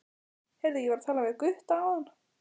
Heyrðu, ég var að tala við Gutta áðan.